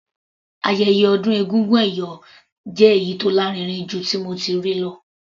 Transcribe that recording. Ayẹyẹ ọdún egúngún ẹ̀yọ̀ jẹ́ èyí tó lárinrin jù tí mo ti rí lọ.